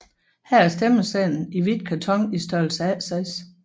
Her er stemmesedlen i hvidt karton i størrelsen A6